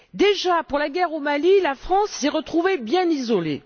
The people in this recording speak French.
Déjà, pour la guerre au Mali, la France s'est retrouvée bien isolée.